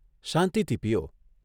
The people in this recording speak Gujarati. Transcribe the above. શાંતિથી પીઓ.